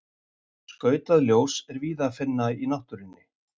Skautað ljós er víða að finna í náttúrunni.